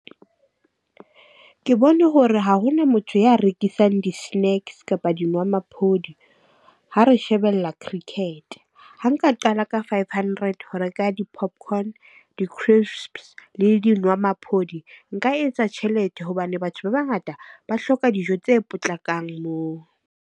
Ke bone hore ha hona motho ya rekisang di-snacks kapa dinwamaphodi, ha re shebella cricket. Ha nka qala ka five hundred ho reka di-popcorn, di-crisps le dinwamaphodi, nka etsa tjhelete hobane batho ba bangata ba hloka dijo tse potlakang moo.